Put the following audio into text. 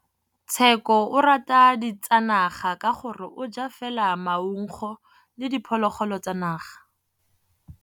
Tshekô o rata ditsanaga ka gore o ja fela maungo le diphologolo tsa naga.